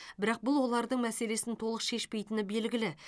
бірақ бұл олардың мәселесін толық шешпейтіні белгілі